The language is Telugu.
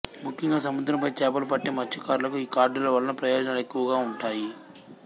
ముఖ్యంగా సముద్రంపై చేపలు పట్టే మత్స్యకారులకు ఈ కార్డుల వల్ల ప్రయోజనాలు ఎక్కువగా ఉంటాయి